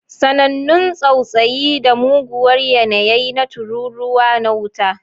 Sanannun tsautsayi da muguwar yanayi na tururuwa na wuta.